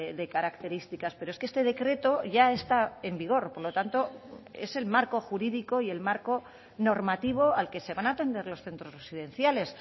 de características pero es que este decreto ya está en vigor por lo tanto es el marco jurídico y el marco normativo al que se van a atender los centros residenciales